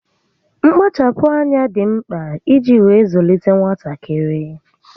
Mkpachapụ́ ányá dị mkpa iji wee zụlite nwatakịrị